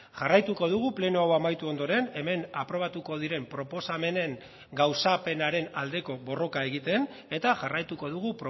jarraituko dugu pleno hau amaitu ondoren hemen aprobatuko diren proposamenen gauzapenaren aldeko borroka egiten eta jarraituko dugu